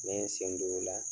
Ne ye n sendon o la